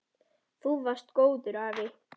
Þú varst góður afi.